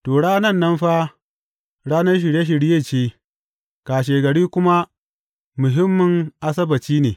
To, ranan nan fa, ranar Shirye shirye ce, kashegari kuma muhimmin Asabbaci ne.